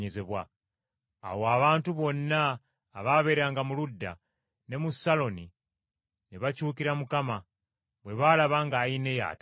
Awo abantu bonna abaabeeranga mu Luda ne mu Saloni ne bakyukira Mukama, bwe baalaba nga Ayineya atambula.